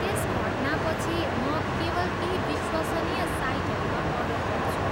त्यस घटनापछि, म केवल केही विश्वसनीय साइटहरूमा अर्डर गर्छु।